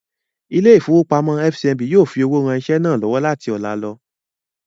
Ilé-ìfowópamọ́sí FCMB yóò fi owó ran iṣẹ́ náà lọ́wọ́ láti ọlá lọ.